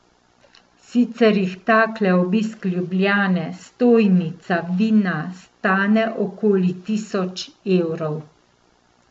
Sicer jih takle obisk Ljubljane, stojnica, vina, stane okoli tisoč evrov.